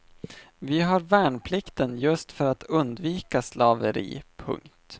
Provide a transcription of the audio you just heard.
Vi har värnplikten just för att undvika slaveri. punkt